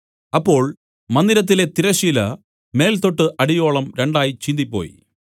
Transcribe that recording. അപ്പോൾ മന്ദിരത്തിലെ തിരശ്ശീല മേൽതൊട്ട് അടിയോളവും രണ്ടായി ചീന്തിപ്പോയി